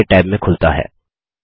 यह नये टैब में खुलता है